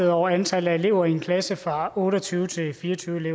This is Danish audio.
over antallet af elever i en klasse fra otte og tyve til fireogtyvende